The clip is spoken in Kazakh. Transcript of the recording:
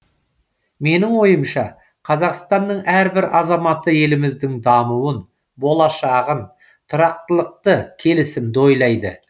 менің ойымша қазақстанның әрбір азаматы еліміздің дамуын болашағын тұрақтылықты келісімді ойлайды